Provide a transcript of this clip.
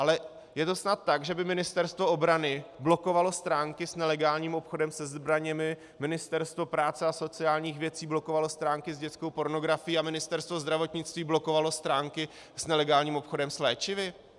Ale je to snad tak, že by Ministerstvo obrany blokovalo stránky s nelegálním obchodem se zbraněmi, Ministerstvo práce a sociálních věcí blokovalo stránky s dětskou pornografií a Ministerstvo zdravotnictví blokovalo stránky s nelegálním obchodem s léčivy?